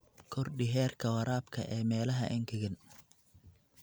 Kordhi heerka waraabka ee meelaha engegan.